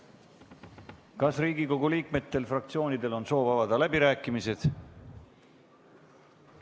Kas Riigikogu liikmetel, fraktsioonidel on soov avada läbirääkimised?